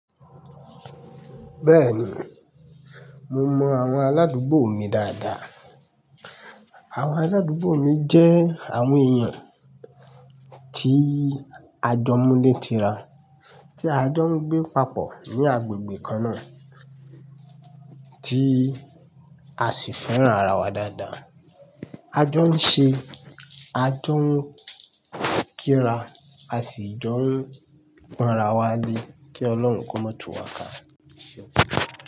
Bẹ́ẹ̀ni, mo mọ àwọn aládùúgbò mi dáadáa. Àwọn aládùúgbò mi jẹ́ àwọn èèyàn tí a jọ mú lé ti ra, tí a jọ ń gbé papọ̀ ní agbègbè kan náà, tí a sì fẹ́ràn ara wa dáadáa. A jọ ń ṣe, a jọ ń kíra, a sì jọ ń pọn ra wa lé kí Ọlọ́run kó má tu wa ká.